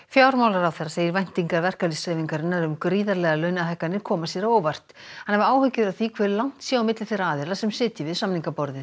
fjármálaráðherra segir væntingar verkalýðshreyfingarinnar um gríðarlegar launahækkanir koma sér á óvart hann hafi áhyggjur af því hve langt sé á milli þeirra aðila sem sitji við samningaborðið